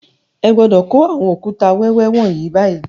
Ẹ gbọ́dọ̀ kó àwọn òkúta wẹ́wẹ́ wọ̀nyí báyìí